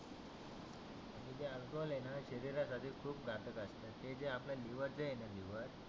ते जे अल्कोहोल आहेना शरीरासाठी खुप घातक असतं. हे जे आपलं लिवर जे आहेना लिवर